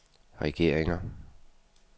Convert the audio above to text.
regeringer